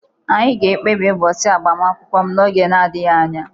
Anyị ga-ekpebi ụbọchị agbamakwụkwọ m n'oge adịghị anya